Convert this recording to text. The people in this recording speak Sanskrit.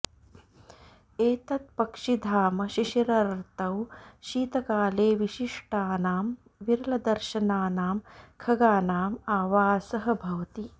एतत् पक्षिधाम शिशिरर्तौ शीतकाले विशिष्टानां विरलदर्शनानां खगानाम् आवासः भवति